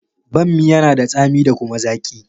Banmi yana da tsami da kuma zaki.